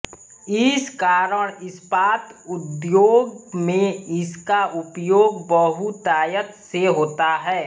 इस कारण इस्पात उद्योग में इसका उपयोग बहुतायत से होता है